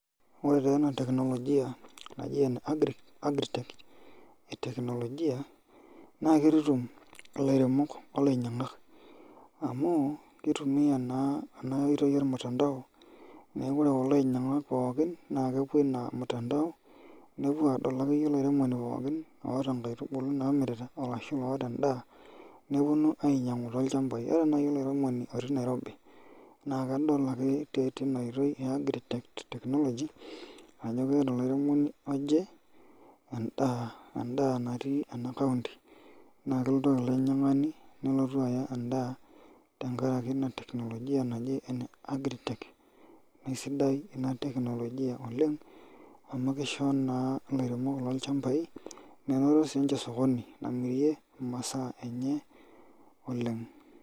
Ore taa ena teknologia naji ene Agri tech eteknologia naa kitutum ilairemok olanyiankak, amu kitumia naa enaoitoi olmutantao, neeku ore kulo anyiank pookin naa kepuo ina mutantao, nepuo aadol akeyie olairemoni pookin oota inkaitubulu namirita arashu oota endaa neponu ainyianku toochambai ore nai olairemoni otii Nairobi naa kedol ake teina oitoi e Agri tech technology ajo keeta olairemoni oje endaa natii ena kaunti naa kelotu ilo ainyiankani aya endaa tenkari ina teknologia e Agri tech. Neeku kesidai ina teknologia oleng' amu kisho naa ilairemok loochambai menoto siininje osokoni namirie imaa enye oleng'.